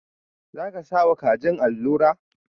Za ka sa wa kajin alura?.